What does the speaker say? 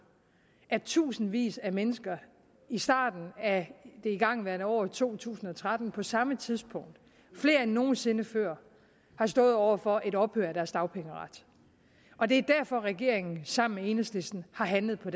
at tusindvis af mennesker i starten af det igangværende år to tusind og tretten på samme tidspunkt og flere end nogen sinde før har stået over for et ophør af deres dagpengeret og det er derfor at regeringen sammen med enhedslisten har handlet på